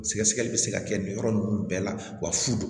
Sɛgɛsɛgɛli bɛ se ka kɛ nin yɔrɔ ninnu bɛɛ la wa fu